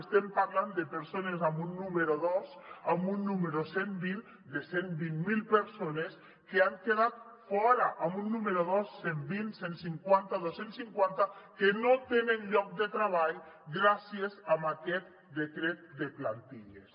estem parlant de persones amb un número dos amb un número cent vint de cent i vint miler persones que n’han quedat fora amb un número dos cent vint cent cinquanta dos cents cinquanta que no tenen lloc de treball gràcies a aquest decret de plantilles